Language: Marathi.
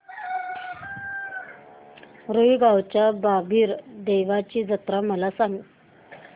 रुई गावच्या बाबीर देवाची जत्रा मला सांग